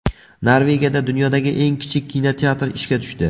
Norvegiyada dunyodagi eng kichik kinoteatr ishga tushdi.